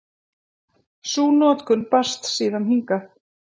Sú notkun barst síðan hingað.